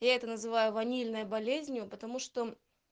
я это называю ванильной болезнью потому что